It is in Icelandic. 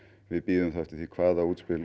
við bíðum þá eftir því hvaða útspil